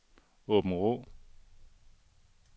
Åbenrå